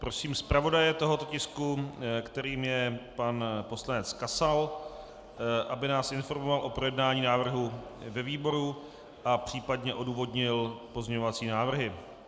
Prosím zpravodaje tohoto tisku, kterým je pan poslanec Kasal, aby nás informoval o projednání návrhu ve výboru a případně odůvodnil pozměňovací návrhy.